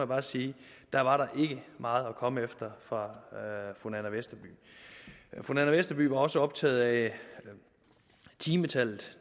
bare sige at der var der ikke meget at komme efter fra fru nanna westerby fru nanna westerby var også optaget af timetallet